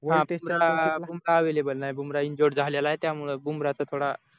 available नाही Bumrah injured झालेला आहे त्यामुळे थोड